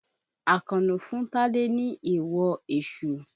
Àkànó fún Tádé ní èèwọ èṣù.